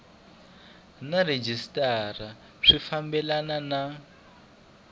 na rhejisitara swi fambelana na